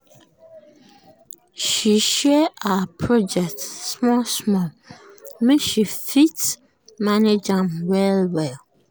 she share her project small-small make she fit manage am well-well.